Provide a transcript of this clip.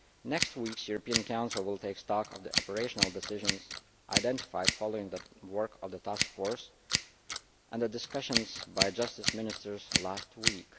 Next week's European Council will take stock of the operational decisions identified following the work of the Task Force and the discussions by Justice Ministers last